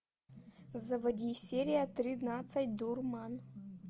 заводи серия тринадцать дурман